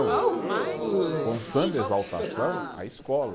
foi um samba exaltação à escola.